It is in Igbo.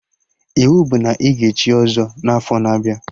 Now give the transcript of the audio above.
Iwu bụ na ị ga echi ọzọ n'afọ na-abịa!